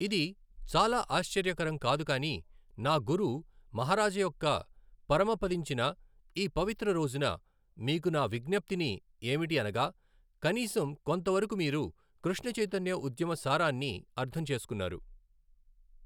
ఇది చాలా ఆశ్చర్యకరం కాదు కానీ నా గురు మహారాజ యొక్క పరమపదించిన ఈ పవిత్ర రోజున మీకు నా విజ్ఞప్తిని ఏమిటి అనగా కనీసం కొంత వరకు మీరు కృష్ణ చైతన్య ఉద్యమ సారాన్ని అర్థం చేసుకున్నారు.